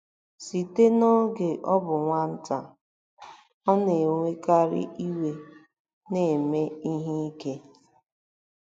Site n'oge ọ bụ nwata, ọ na-ewekarị iwe na ime ihe ike.